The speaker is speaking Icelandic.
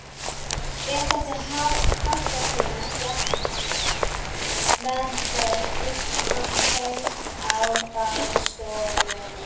Rétt eftir háttatíma gekk veðrið upp svo hvein á baðstofunni